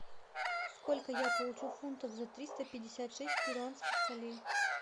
сколько я получу фунтов за триста пятьдесят шесть перуанских солей